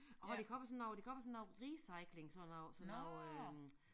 Og hvor de kommer når de kommer sådan noget recyling sådan noget sådan noget øh